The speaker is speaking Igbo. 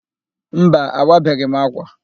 Mba, awabeghị m ákwà.